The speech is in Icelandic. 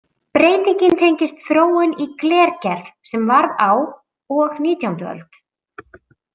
Breytingin tengist þróun í glergerð sem varð á og nítjánda öld.